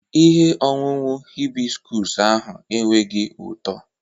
Ihe ọṅụṅụ hibiscus ahụ enweghị ụtọ